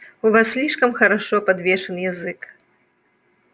у вас слишком хорошо подвешен язык